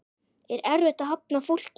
Er erfitt að hafna fólki?